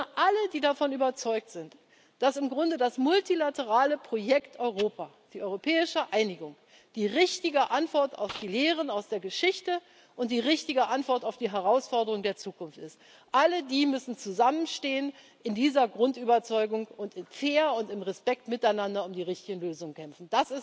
Sondern alle, die davon überzeugt sind, dass im Grunde das multilaterale Projekt Europa die europäische Einigung die richtige Antwort auf die Lehren aus der Geschichte und die richtige Antwort auf die Herausforderungen der Zukunft ist, alle die müssen in dieser Grundüberzeugung zusammenstehen und fair und im Respekt miteinander um die richtigen Lösungen kämpfen.